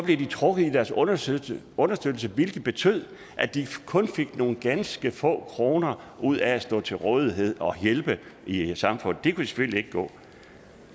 de trukket i deres understøttelse understøttelse hvilket betød at de kun fik nogle ganske få kroner ud af at stå til rådighed og hjælpe i samfundet og det kunne selvfølgelig ikke gå